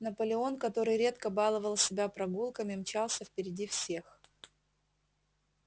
наполеон который редко баловал себя прогулками мчался впереди всех